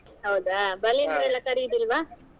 ಹೌದಾ ಬಲಿಂದ್ರ ಎಲ್ಲಾ ಕರಿಯುದಿಲ್ವಾ?